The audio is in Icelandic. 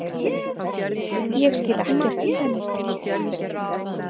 Ég skil ekkert í henni.